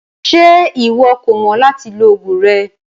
Ṣe iwọ kò mọ lati lo ogun rẹ?